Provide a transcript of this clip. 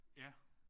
Ja